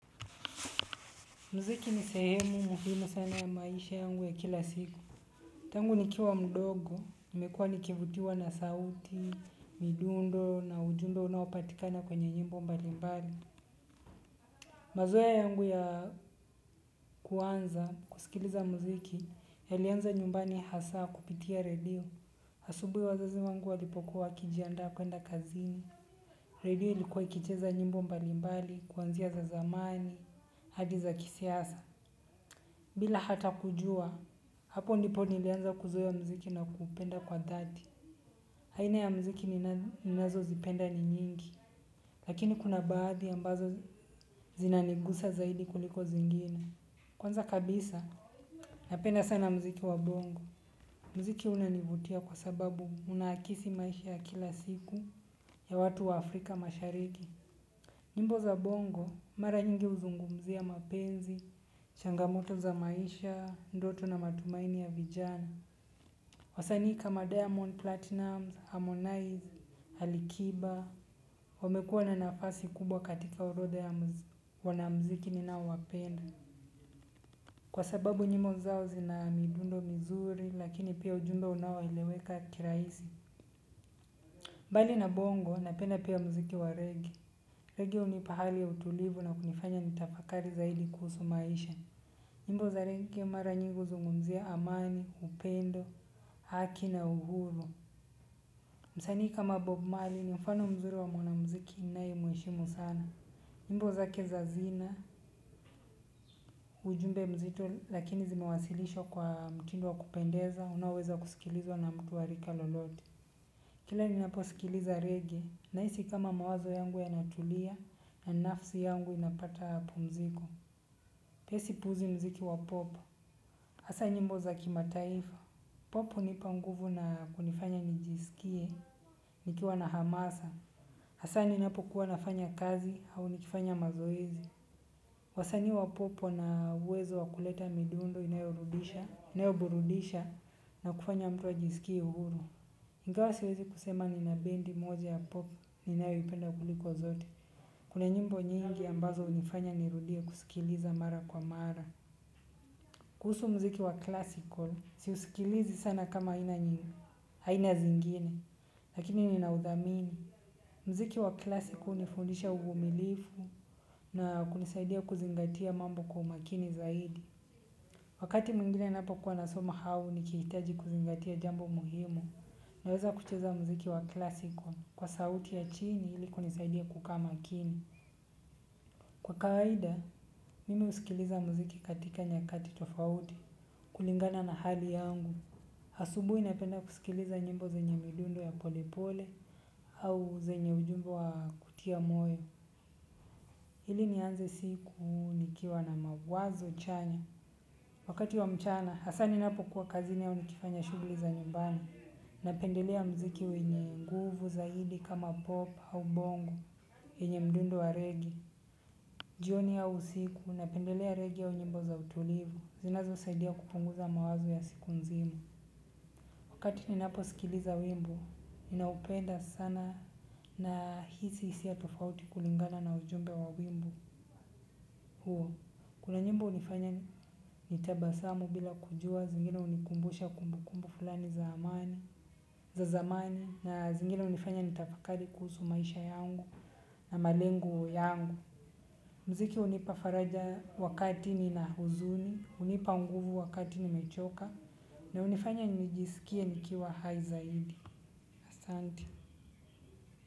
Mziki ni sehemu muhimu sana ya maisha yangu ya kila siku. Tangu nikiwa mdogo. Nimekuwa nikivutiwa na sauti, midundo na ujumbe unaopatikana kwenye nyimbo mbalimbali. Mazoea yangu ya kuanza kusikiliza mziki yalianza nyumbani hasa kupitia radio. Asubuhi wazazi wangu walipokuwa wakijiandaa kuenda kazini. Radio ilikuwa ikicheza nyimbo mbalimbali, kuanzia za zamani, hadi za kisiasa. Bila hata kujua, hapo ndipo nilianza kuzoea mziki na kuupenda kwa dhati. Aina ya mziki ni nazozipenda ni nyingi, lakini kuna baadhi ambazo zinanigusa zaidi kuliko zingine. Kwanza kabisa, napenda sana mziki wa bongo. Mziki unanivutia kwa sababu unaakisi maisha ya kila siku ya watu wa afrika mashariki nyimbo za bongo, mara nyingi huzungumzia mapenzi, changamoto za maisha, ndoto na matumaini ya vijana. Wasanii kama diamond platinumz, harmonize, alikiba, wamekuwa na nafasi kubwa katika orodha ya wanamziki ninao wapenda. Kwa sababu nyimbo zao zina midundo mizuri na pia ujumbe unaeleweka kirahisi. Mbali na bongo, napenda pia mziki wa reggaee. Reggae hunipa hali ya utulivu na kunifanya nitafakari zaidi kuhusu maisha nyimbo za reggae mara nyingi huzungumzia amani upendo haki na uhuru msanii kama bob marley ni mfano mzuri wa mwanamziki ninayemheshimu sana nyimbo zake za zina, ujumbe mzito lakini zimewasilishwa kwa mtindo wa kupendeza, unaoweza kusikilizwa na mtu wa rika lolote. Kila ninaposikiliza reggae nahisi kama mawazo yangu yanatulia na nafsi yangu inapata pumziko. Pesi puzi mziki wa popo. Hasa nyimbo za kima taifa. Pop hunipa nguvu na kunifanya nijisikie, nikiwa na hamasa. Hasa ninapokuwa nafanya kazi au nikifanya mazoezi. Wasanii wa pop wana uwezo wa kuleta midundo inayorudisha, inayoburudisha na kufanya mtu ajisikie uhuru. Ingawa siwezi kusema nina bendi moja ya pop ninayoipenda kuliko zote. Kuna nyimbo nyingi ambazo hunifanya nirudie kusikiliza mara kwa mara. Kuhusu mziki wa classical, siusikilizi sana kama aina nyingi. Haina zingine. Lakini ninauthamini. Mziki wa classical hunifundisha uvumilivu na kunisaidia kuzingatia mambo kwa umakini zaidi. Wakati mwingine napokuwa nasoma au nikihitaji kuzingatia jambo muhimu. Naweza kucheza muziki wa classical kwa sauti ya chini ili kunisaidia kukaa makini. Kwa kaida, mimi husikiliza muziki katika nyakati tofauti kulingana na hali yangu. Asubuhi ninapenda kusikiliza nyimbo zenye midundo ya pole pole au zenye ujumbe wa kutia moyo. Ili nianze siku nikiwa na mawazo chanya. Wakati wa mchana, hasa ninapo kuwa kazini au nikifanya shughuli za nyumbani. Napendelea mziki wenye nguvu zaidi kama pop au bongo yenye mdundo wa regi. Jioni au usiku napendelea reggae au nyimbo za utulivu. Zinazosaidia kupunguza mawazo ya siku nzima. Wakati ninapo sikiliza wimbo ninaupenda sana nahisi hisia tofauti kulingana na ujumbe wa wimbo. Kuna nyimbo hunifanya nitabasamu bila kujua. Zingine hunikumbusha kumbukumbu fulani za amani za zamani na zingine hunifanya nitafakari kuhusu maisha yangu na malengo yangu. Mziki hunipa faraja wakati nina huzuni, hunipa nguvu wakati nimechoka na hunifanya nijisikie nikiwa hai zaidi. Asanti.